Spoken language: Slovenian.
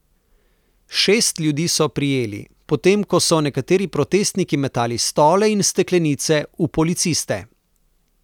Šest ljudi so prijeli, potem ko so nekateri protestniki metali stole in steklenice v policiste.